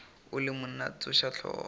o le monna tsoša hlogo